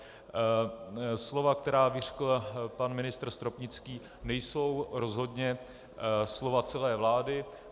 Slova, která vyřkl pan ministr Stropnický, nejsou rozhodně slova celé vlády.